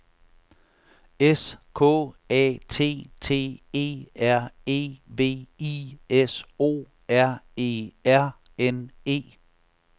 S K A T T E R E V I S O R E R N E